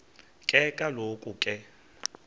ke kaloku ke